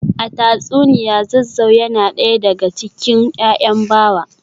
A tatsuniya Zazzau yana daya daga cikin ‘ya’yan Bawa